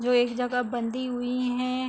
जो एक जगह बंधी हुई हैं।